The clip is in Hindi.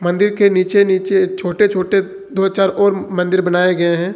मंदिर के नीचे नीचे छोटे छोटे दो चार और मंदिर बनाए गए हैं।